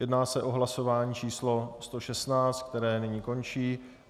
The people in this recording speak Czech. Jedná se o hlasování číslo 116, které nyní končí.